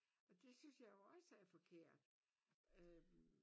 Og det synes jeg jo også er et forkert øh